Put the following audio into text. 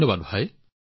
ধন্যবাদ ভাই